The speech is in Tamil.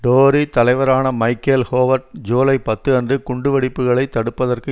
டோரி தலைவரான மைக்கேல் ஹோவர்ட் ஜூலை பத்து அன்று குண்டுவெடிப்புக்களை தடுப்பதற்கு